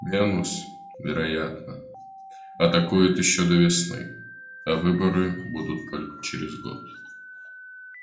венус вероятно атакует ещё до весны а выборы будут только через год